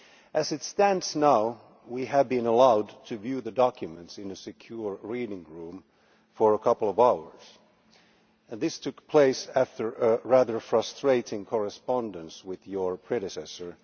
As it stands now, we have been allowed to view the documents in a secure reading room for a couple of hours, and this took place after a rather frustrating correspondence with her predecessor.